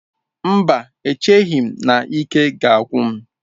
Mba, echeghị m na ike ga-agwụ m